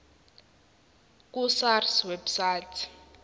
ku sars website